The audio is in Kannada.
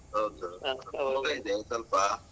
ಹೌದು ಮೋಡ ಇದೆ ಸೊಲ್ಪ.